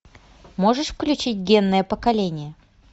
можешь включить генное поколение